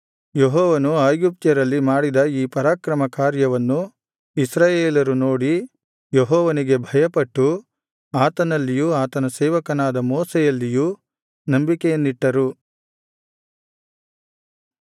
ಯೆಹೋವನು ಐಗುಪ್ತ್ಯರಲ್ಲಿ ಮಾಡಿದ ಈ ಪರಾಕ್ರಮ ಕಾರ್ಯವನ್ನು ಇಸ್ರಾಯೇಲರು ನೋಡಿ ಯೆಹೋವನಿಗೆ ಭಯಪಟ್ಟು ಆತನಲ್ಲಿಯೂ ಆತನ ಸೇವಕನಾದ ಮೋಶೆಯಲ್ಲಿಯೂ ನಂಬಿಕೆಯನ್ನಿಟ್ಟರು